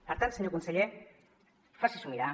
per tant senyor conseller faci s’ho mirar